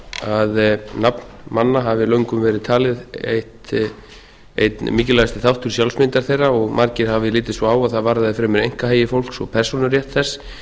að nafn manna hafi löngum verið talið einn mikilvægasti þáttur sjálfsmyndar þeirra og margir hafi litið svo á að það varðaði fremur einkahagi fólks og persónurétt þess